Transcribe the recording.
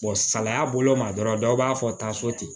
salaya bolo ma dɔrɔn dɔw b'a fɔ taa so ten